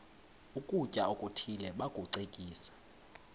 ukutya okuthile bakucekise